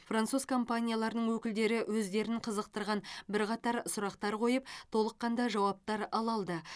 француз компанияларының өкілдері өздерін қызықтырған бірқатар сұрақтар қойып толыққанды жауаптар ала алды